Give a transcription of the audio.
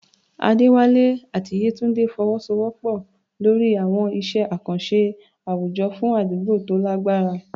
Adewale àti Yetunde fọwọ́sowọ́pọ̀ lórí àwọn iṣẹ́ àkànṣe àwùjọ fún àdúgbò tó lágbára.